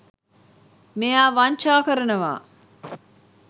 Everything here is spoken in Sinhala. මෙයා වංචා කරනවා.